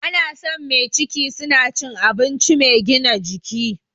Ana son mai ciki suna cikin abinci mai gina jiki